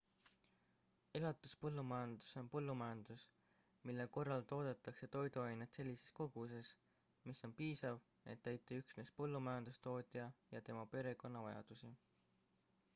elatuspõllumajandus on põllumajandus mille korral toodetakse toiduaineid sellises koguses mis on piisav et täita üksnes põllumajandustootja ja tema perekonna vajadusi